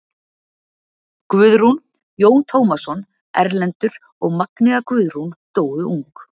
Guðrún, Jón Tómasson, Erlendur og Magnea Guðrún dóu ung.